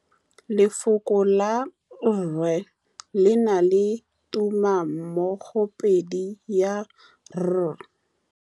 Lefoko la rre, le na le tumammogôpedi ya, r.